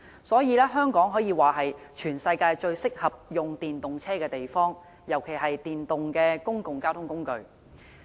所以，香港可說是全世界最適合使用電動車的地方，尤其是電動的公共交通工具。